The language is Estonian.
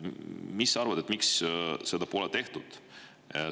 Mis sa arvad, miks seda pole tehtud?